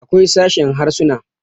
akwai sashen Harsuna